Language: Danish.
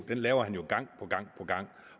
den laver han jo gang på gang på gang